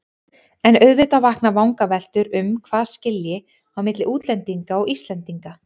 En auðvitað vakna vangaveltur um hvað skilji á milli útlendinga og Íslendinga.